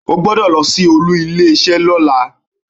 O gbodọ̀ lọ sí olú ilé isé ni ọ̀la